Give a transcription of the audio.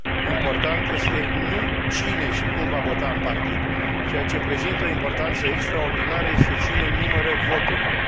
Important este nu cine și cum va vota în partid, ceea ce prezintă o importanță extraordinară este cine numără voturile.